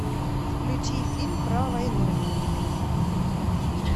включи фильм про войну